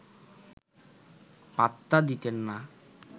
পাত্তা দিতেন না